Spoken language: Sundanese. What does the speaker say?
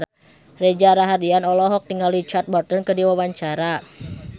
Reza Rahardian olohok ningali Richard Burton keur diwawancara